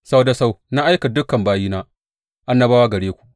Sau da sau na aika dukan bayina annabawa gare ku.